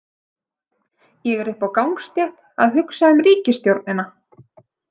Ég er uppi á gangstétt að hugsa um ríkisstjórnina.